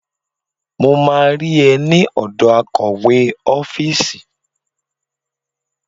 Mo máa rí ẹ ní ọ̀dọ̀ akọ̀wé ọ́fíìsì.